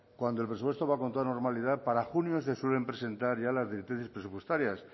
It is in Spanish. cuando el presupuesto va con toda normalidad para junio se suelen presentar ya las directrices presupuestarias